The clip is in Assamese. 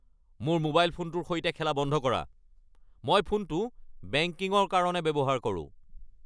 মোৰ মোবাইল ফোনটোৰ সৈতে খেলা বন্ধ কৰা। মই ফোনটো বেংকিঙৰ কাৰণে ব্যৱহাৰ কৰোঁ।